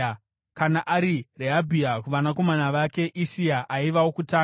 Kana ari Rehabhia, kuvanakomana vake: Ishia aiva wokutanga.